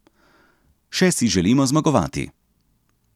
Še si želimo zmagovati.